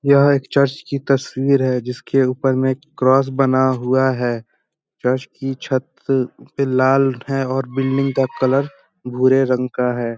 यह एक चर्च की तस्वीर है जिसके ऊपर में एक क्रोस बना हुआ हैं चर्च की छत पे लाल है और बिल्डिंग का कलर भूरे रंग का हैं।